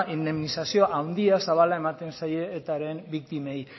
indemnizazioa handia zabala ematen zaie etaren biktimei